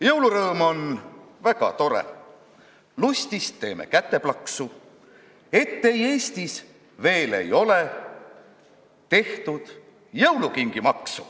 Jõulurõõm on väga tore, lustist teeme käteplaksu, et ei Eestis veel ei ole tehtud jõulukingimaksu.